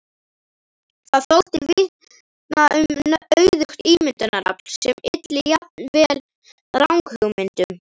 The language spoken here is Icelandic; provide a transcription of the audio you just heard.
Það þótti vitna um auðugt ímyndunarafl sem ylli jafnvel ranghugmyndum.